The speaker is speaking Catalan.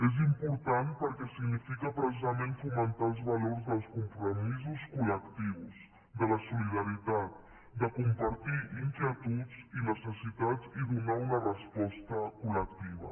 és important perquè significa precisament fomentar els valors dels compromisos col·lectius de la solidaritat de compartir inquietuds i necessitats i donar una resposta col·lectiva